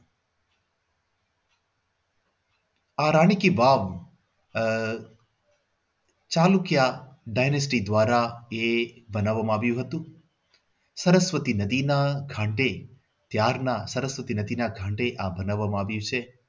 આ રાણી કી વાવ આહ ચાલુ ક્યાં વેલેસ્લી દ્વારા બનાવવામાં આવ્યું હતું સરસ્વતી નદીના ઘાટે ત્યારના સરસ્વતી નદીના ઘાટે આ બંધાવવામાં આવ્યું છે.